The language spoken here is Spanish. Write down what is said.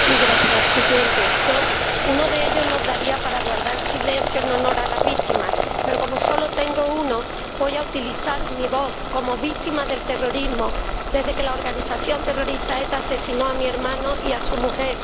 Señor Presidente, si tuviera dos minutos, uno de ellos lo daría para guardar silencio en honor a las víctimas, pero como solo tengo uno, voy a utilizar mi voz como víctima del terrorismo desde que la organización terrorista ETA asesinó a mi hermano y a su mujer.